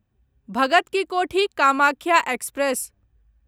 Bhagat ki Kothi Kamakhya express